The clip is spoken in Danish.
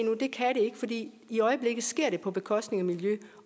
det i øjeblikket sker det på bekostning af miljø